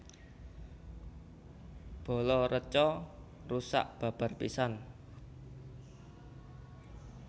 Bala reca rusak babar pisan